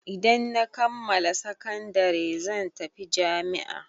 Idan na kammala sakandare zan tafi jami'a.